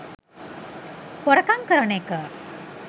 හොරකං කරන එක